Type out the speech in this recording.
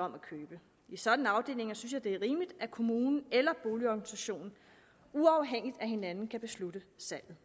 om at købe i sådanne afdelinger synes jeg at det er rimeligt at kommunen eller boligorganisationen uafhængigt af hinanden kan beslutte salget